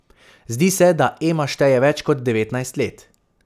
Zdi se, da Ema šteje več kot devetnajst let.